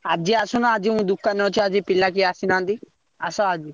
ଆଜି ଆସୁନ ଆଜି ମୁଁ ଦୋକାନେ ଅଛି ଆଜି ପିଲା କେହି ଆସିନାହାନ୍ତି ଆସ ଆଜି।